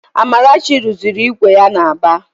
Amarachi rụziri ígwè ya n'Aba